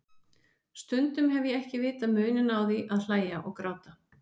Stundum hef ég ekki vitað muninn á því að hlæja og gráta.